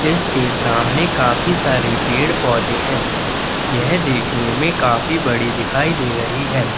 इसके सामने काफी सारे पेड़-पौधे हैं। यह देखने में काफी बड़ी दिखाई दे रही है।